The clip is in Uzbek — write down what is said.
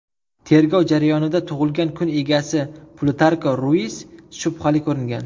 Tergov jarayonida tug‘ilgan kun egasi Plutarko Ruis shubhali ko‘ringan.